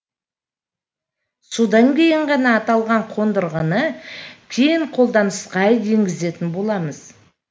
содан кейін ғана аталған қондырғыны кең қолданысқа енгізетін боламыз